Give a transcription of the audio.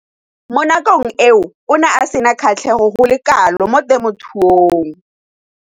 Mo nakong eo o ne a sena kgatlhego go le kalo mo temothuong.